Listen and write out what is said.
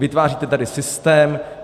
Vytváříte tady systém.